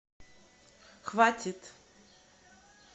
хватит